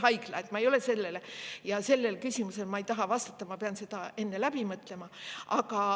Ma ei ole sellele, nii et sellele küsimusele ma ei taha vastata, ma pean selle enne läbi mõtlema.